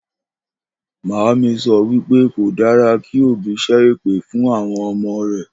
Màámi so̩ wípé kò dára kí òbí s̩é̩ èpè fún àwo̩n o̩mo̩ rè̩